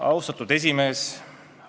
Austatud juhataja!